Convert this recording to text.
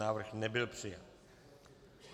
Návrh nebyl přijat.